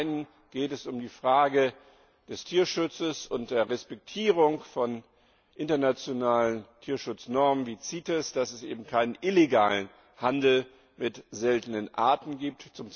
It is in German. Zum Einen geht es um die Frage des Tierschutzes und der Respektierung von internationalen Tierschutznormen, wie CITES, dass es eben keinen illegalen Handel mit seltenen Arten gibt.